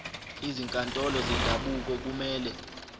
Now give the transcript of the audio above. izinkantolo zendabuko kumele